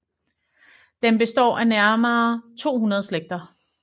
Den består af nærmere 200 slægter